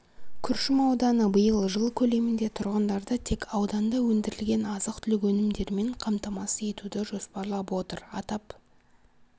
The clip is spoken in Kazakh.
күршім ауданы биыл жыл көлемінде тұрғындарды тек ауданда өндірілген азық-түлік өнімдерімен қамтамасыз етуді жоспарлап отыр атап